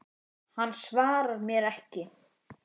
Hann svarar mér ekki.